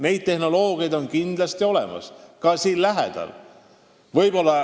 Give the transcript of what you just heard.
Neid tehnoloogiaid on kindlasti olemas, ka siin lähedal.